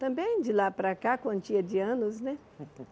Também de lá para cá, a quantia de anos, né?